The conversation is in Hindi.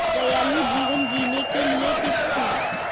दयालु जीवन जीने के लिए टिप्स